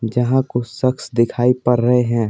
जहाँ कुछ शख्स दिखाई पर रहे हैं।